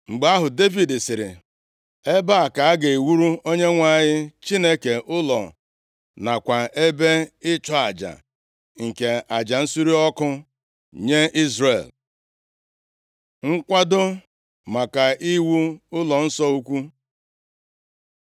Mgbe ahụ, Devid sịrị, “Ebe a ka a ga-ewuru Onyenwe anyị Chineke ụlọ, nakwa ebe ịchụ aja nke aja nsure ọkụ nye Izrel.” Nkwado maka iwu Ụlọnsọ ukwu